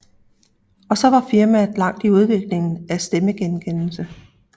Og så var firmaet langt i udviklingen af stemmegenkendelse